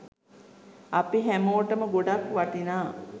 අපි හැමෝටම ගොඩක් වටිනා